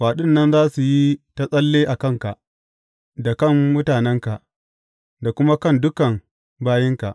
Kwaɗin nan za su yi ta tsalle a kanka, da kan mutanenka, da kuma kan dukan bayinka.’